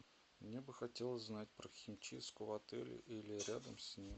мне бы хотелось знать про химчистку в отеле или рядом с ним